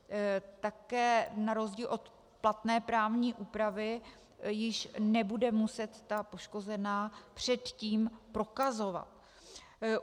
Také na rozdíl od platné právní úpravy již nebude muset ta poškozená předtím prokazovat.